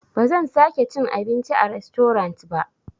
Bazan sake cin abinci a rastorant ba.